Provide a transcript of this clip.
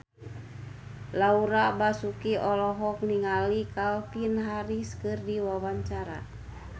Laura Basuki olohok ningali Calvin Harris keur diwawancara